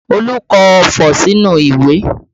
Olu kọ ọfọ̀ sínú ìwé